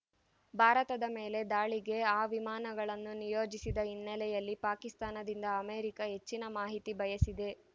ಭಾರತದ ಮೇಲೆ ದಾಳಿಗೆ ಆ ವಿಮಾನಗಳನ್ನು ನಿಯೋಜಿಸಿದ ಹಿನ್ನೆಲೆಯಲ್ಲಿ ಪಾಕಿಸ್ತಾನದಿಂದ ಅಮೇರಿಕ ಹೆಚ್ಚಿನ ಮಾಹಿತಿ ಬಯಸಿದೆ